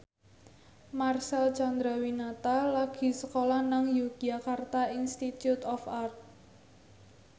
Marcel Chandrawinata lagi sekolah nang Yogyakarta Institute of Art